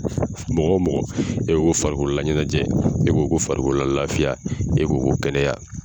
Mɔgɔ o mɔgɔ n'e ko farikolola ɲɛnajɛ n'e ko farikolola lafiya n'e ko ko kɛnɛya.